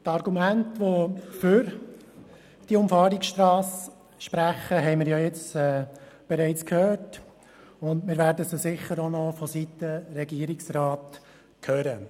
Die Argumente, welche für diese Umfahrungsstrasse sprechen, haben wir bereits gehört, und wir werden sie sicher auch noch seitens des Regierungsrats hören.